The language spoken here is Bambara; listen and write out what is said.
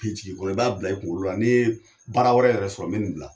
A bɛ jigi i kɔnɔ i b'a bila i kunkolo la, n'i ye baara wɛrɛ yɛrɛ sɔrɔ, n bɛ nin bila.